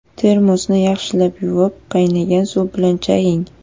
Termosni yaxshilab yuvib, qaynagan suv bilan chaying.